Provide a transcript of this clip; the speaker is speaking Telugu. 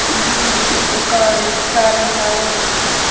ఇది ఒక రెస్టారెంట్ లాగా ఉంది.